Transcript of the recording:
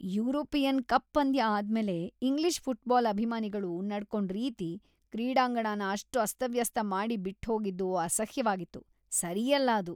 European cup ಪಂದ್ಯ ಆದ್ಮೇಲೆ English football ಅಭಿಮಾನಿಗಳು ನಡ್ಕೊಂಡ್‌ ರೀತಿ, ಕ್ರೀಡಾಂಗಣನ ಅಷ್ಟ್‌ ಅಸ್ತವ್ಯಸ್ತ ಮಾಡಿ ಬಿಟ್ಹೋಗಿದ್ದು ಅಸಹ್ಯ್‌ವಾಗಿತ್ತು, ಸರಿಯಲ್ಲ ಅದು.